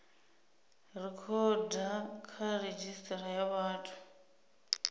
rekhoda kha redzhisitara ya vhathu